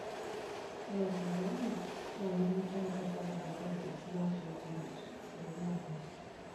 Ore serkali naa ketum faida sapuk te projects nashetie eumata.